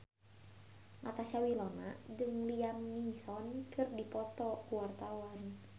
Natasha Wilona jeung Liam Neeson keur dipoto ku wartawan